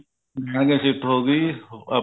ਉਹਨਾ ਦੀ ਸਿਫਤ